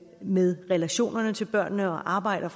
med relationerne til børnene og arbejder